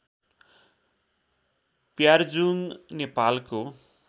प्यार्जुङ नेपालको